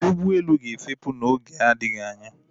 Ụgbọelu a ga-efepù n'oge na-adịghị anya